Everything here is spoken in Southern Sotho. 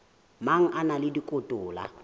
mang a na le dikotola